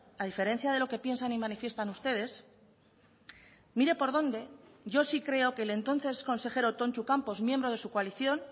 a diferencia de lo que piensan y manifiestan ustedes mire por dónde yo sí creo que el entonces consejero tontxu campos miembro de su coalición